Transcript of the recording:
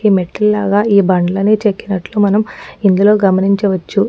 ఈ మెట్లులాగా ఈ బండ్లని చెక్కినటు మనం ఇందులో గమనించవచ్చు.